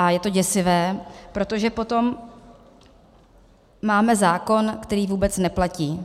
A je to děsivé, protože potom máme zákon, který vůbec neplatí.